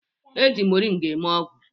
E ji mọrịnga eme ogwụ